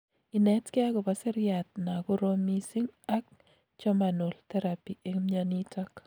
inetkei akopo seriat na korom missing ak jhormanal therapy eng mnyonitok